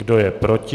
Kdo je proti?